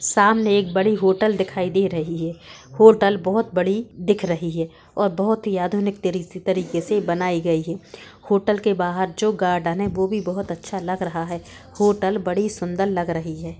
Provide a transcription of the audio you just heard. सामने एक बड़ी होटल दिखाई दी रही हैं होटल बहोत बड़ी दिख रही हैं और बहोत आधुनिक तरी-तरीके से बनाई गई हैं होटल के बाहर जो गार्डन हैं वो भी बहोत अच्छा लग रहा हैं। होटल बड़ी सुन्दर लग रही है।